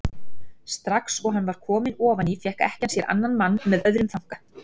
Strax og hann var kominn ofan í fékk ekkjan sér annan mann með öðrum þanka.